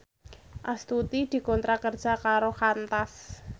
Astuti dikontrak kerja karo Qantas